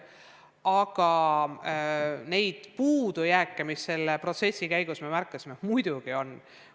Aga puudujääke, mida selle protsessi käigus märkasime, muidugi on.